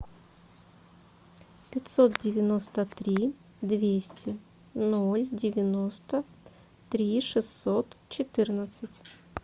пятьсот девяносто три двести ноль девяносто три шестьсот четырнадцать